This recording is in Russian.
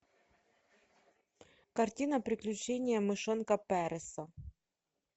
картина приключения мышонка переса